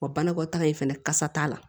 Wa banakɔtaa in fɛnɛ kasa t'a la